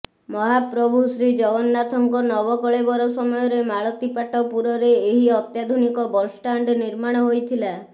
ମହାପ୍ରଭୁ ଶ୍ରୀଜଗନ୍ନାଥଙ୍କ ନବକଳେବର ସମୟରେ ମାଳତୀପାଟପୁରରେ ଏହି ଅତ୍ୟାଧୁନିକ ବସଷ୍ଟାଣ୍ଡ ନିର୍ମାଣ ହୋଇଥିଲା